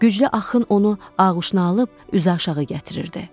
Güclü axın onu ağuşuna alıb üzü aşağı gətirirdi.